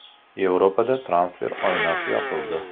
Yevropada transfer oynasi yopildi.